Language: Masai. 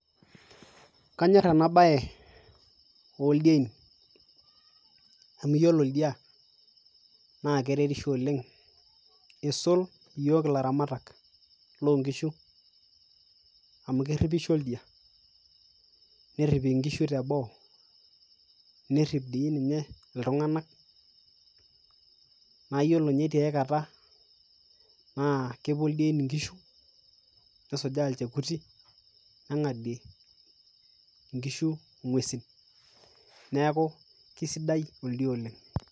kanyor ena bae oldiein ,amu iyiolo oldia naa keretisho oleng, isul iyiook ilaramatak lloo kishu, amu keripisho oldia, nerip inkishu tebo, nerip dii ninye iltunganak, naa ore dii ninye tiay kata, naa kepuo ildein inkishu nesujaa ilchekuti neng'adie inkiishu ing'uesin neeku kididai oldia oleng'.